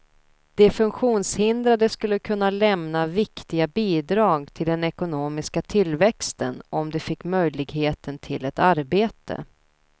De funktionshindrade skulle kunna lämna viktiga bidrag till den ekonomiska tillväxten om de fick möjligheten till ett arbete.